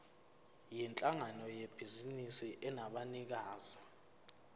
yinhlangano yebhizinisi enabanikazi